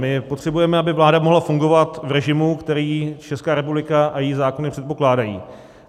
My potřebujeme, aby vláda mohla fungovat v režimu, který Česká republika a její zákony předpokládají.